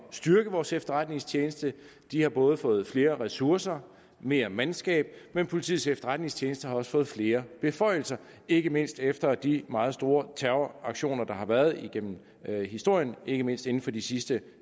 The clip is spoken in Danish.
styrke vores efterretningstjeneste de har både fået flere ressourcer og mere mandskab men politiets efterretningstjeneste har også fået flere beføjelser ikke mindst efter de meget stor terroraktioner der har været igennem historien ikke mindst inden for de sidste